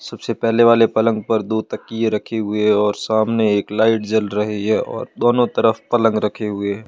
सबसे पहले वाले पलंग पर दो तकिए रखे हुए है और सामने एक लाइट जल रही हैं और दोनों तरफ पलंग रखे हुए है।